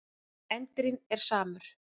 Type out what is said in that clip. Endirinn er samur.